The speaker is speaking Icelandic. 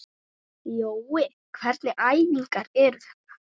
Jói, hvernig æfingar eru þetta?